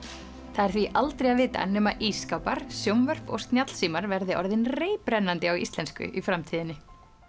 það er því aldrei að vita nema ísskápar sjónvörp og snjallsímar verði orðin reiprennandi á íslensku í framtíðinni